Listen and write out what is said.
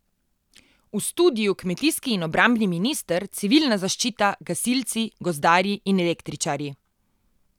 V studiu kmetijski in obrambni minister, civilna zaščita, gasilci, gozdarji in električarji.